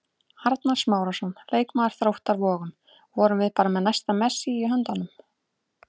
Arnar Smárason, leikmaður Þróttar Vogum: Vorum við bara með næsta Messi í höndunum?